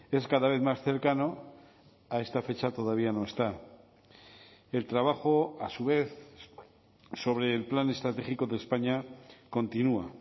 es cada vez más cercano a esta fecha todavía no está el trabajo a su vez sobre el plan estratégico de españa continúa